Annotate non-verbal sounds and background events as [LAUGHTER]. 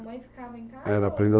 sua mãe ficava em casa? Era [UNINTELLIGIBLE]